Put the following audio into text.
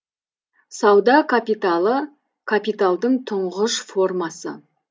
сауда капиталы капиталдың тұңғыш формасы